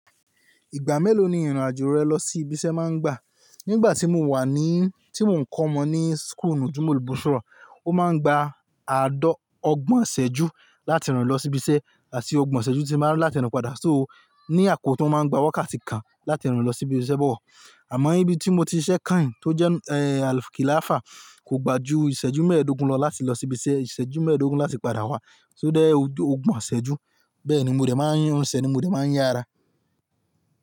Ìgbà mélòó ni ìrìnàjò rẹ lọ sí ibi iṣẹ́ máa ń gbà? Nígbà tí mo wà ní, tí mò ń kọ́ ọmọ ní school nùjùmọ̀ bushrọ̀, ó máa ń gba àádọ́ ọgbọ̀n ìṣẹ́jú láti rìn lọ sí ibi iṣẹ́, àti ọgbọ̀n ìṣẹ́jú tí máa ń rìn láti rìn padà. So ní àkókò tan o máa ń gba wákàtí kan láti rìn lọ sí ibi iṣẹ́ bọ̀ wọ̀. Àmọ́ níbi tí mo ti ṣiṣẹ́ kain tó jẹ́ eh Al-Khilafah kò gbà ju ìṣẹ́jú mẹ́ẹ̀ẹ́dógún lọ láti lọ sí ibi iṣẹ́, ìṣẹ́jú mẹ́ẹ̀ẹ́dógún láti padà wá. So dé ọgbọ̀n ìṣẹ́jú. Bẹ́ẹ̀ ni mo de máa ń rin sẹ̀ ni mo dẹ̀ máa ń yá ara.